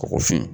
Kɔgɔ fin